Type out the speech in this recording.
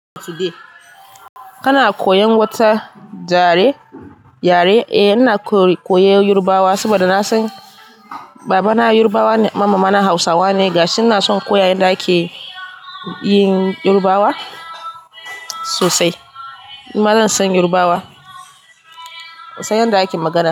Kana koyan wata yare? Eh ina koyan Yoruba saboda na san babana Yoruba ne, mama na Hausa ne gashi. Ina son koya yanda ake yin Yoruba sosai. Ma zan san Yoruba sosai yanda ake magana.